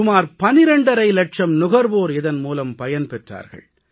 சுமார் 12 ½ இலட்சம் நுகர்வோர் இதன் மூலம் பயன் பெற்றார்கள்